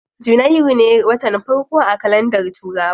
Janairu ne watan farko a kalandar turawa.